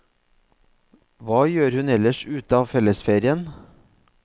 Hva gjør hun ellers ut av fellesferien?